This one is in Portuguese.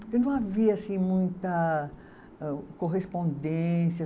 Porque não havia assim muita, eh, correspondência.